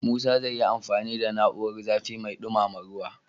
Musa zai yi amfani da na'urar zafi mai dumama ruwa.